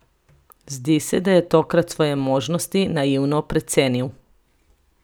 Zdi se, da je tokrat svoje možnosti naivno precenil.